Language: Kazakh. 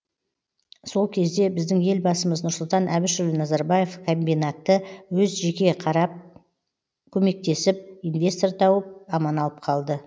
сол кезде біздің елбасымыз нұрсұлтан әбішұлы назарбаев комбинатты өз жеке қарап көмектесіп инвестор тауып аман алып қалды